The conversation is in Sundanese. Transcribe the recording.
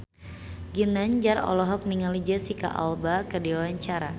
Ginanjar olohok ningali Jesicca Alba keur diwawancara